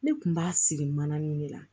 Ne kun b'a siri mananin de la